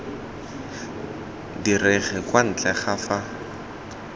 direge kwa ntle ga fa